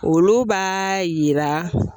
Olu b'a yira[ ?]